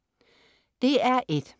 DR1: